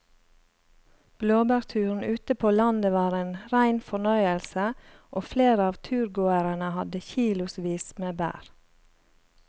Blåbærturen ute på landet var en rein fornøyelse og flere av turgåerene hadde kilosvis med bær.